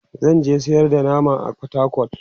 zanje sayar da nama a portacol